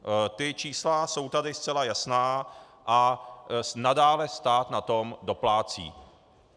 Ta čísla jsou tady zcela jasná a nadále stát na to doplácí.